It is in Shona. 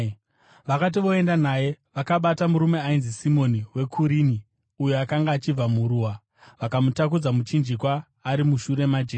Vakati voenda naye, vakabata murume ainzi Simoni weKurini, uyo akanga achibva muruwa, vakamutakudza muchinjikwa ari mushure maJesu.